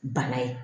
Bana ye